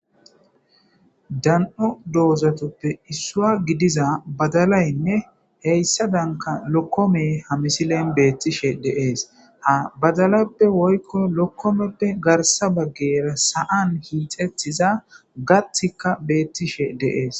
dan7o doozatoppe issua gidiza badalaynne heyssa danka lokkome hamisilen beettishe deees ha badalappe woykko lokkomeppe garsa baggera sa7an hiixettiza gatika beettishe deees